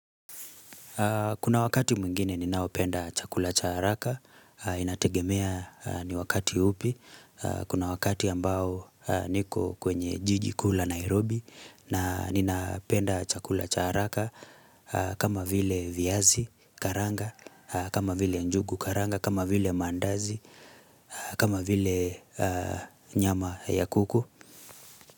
Kuna wakati mwingine ninaopenda chakula cha haraka, inategemea ni wakati upi, kuna wakati ambao niko kwenye jijikuu la Nairobi na ninapenda chakula cha haraka kama vile viazi karanga, kama vile njugu karanga, kama vile mandazi, kama vile nyama ya kuku.